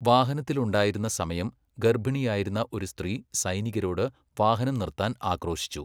വാഹനത്തിലുണ്ടായിരുന്ന സമയം ഗർഭിണിയായിരുന്ന ഒരു സ്ത്രീ സൈനികരോട് വാഹനം നിർത്താൻ ആക്രോശിച്ചു.